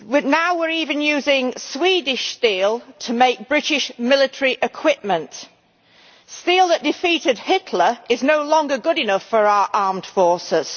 Now we are even using Swedish steel to make British military equipment steel that defeated Hitler is no longer good enough for our armed forces.